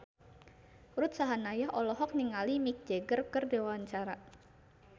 Ruth Sahanaya olohok ningali Mick Jagger keur diwawancara